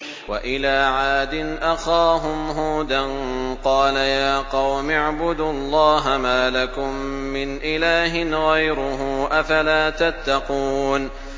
۞ وَإِلَىٰ عَادٍ أَخَاهُمْ هُودًا ۗ قَالَ يَا قَوْمِ اعْبُدُوا اللَّهَ مَا لَكُم مِّنْ إِلَٰهٍ غَيْرُهُ ۚ أَفَلَا تَتَّقُونَ